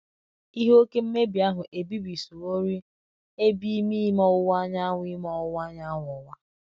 Ihe oke mmebi ahụ ebibisịworị Ebe Ime Ime Ọwuwa Anyanwụ Ime Ọwuwa Anyanwụ Ụwa.